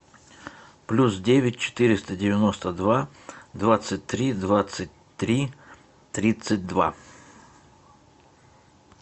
плюс девять четыреста девяносто два двадцать три двадцать три тридцать два